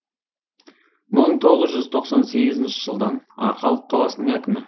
мың тоғыз жүз тоқсан сегізінші жылдан арқалық қаласының әкімі